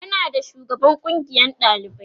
ana da shugaban kungiyan ɗalibai